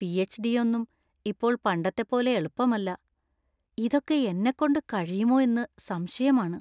PhD. ഒന്നും ഇപ്പോൾ പണ്ടത്തെ പോലെ എളുപ്പമല്ല; ഇതൊക്കെ എന്നെക്കൊണ്ട് കഴിയുമോ എന്ന് സംശയമാണ്.